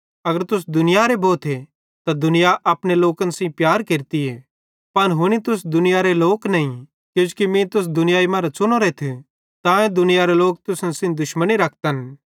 अगर तुस दुनियारे भोथे त दुनिया अपने लोकन सेइं प्यार केरती पन हुनी तुस दुनियारे लोक नईं किजोकि मीं तुस दुनियाई मरां च़ुनोरेथ तांए दुनियारे लोक तुसन सेइं दुश्मनी रखतन